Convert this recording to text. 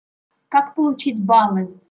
как получить баллы